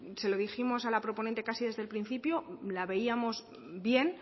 se lo dijimos a la proponente casi desde el principio la veíamos bien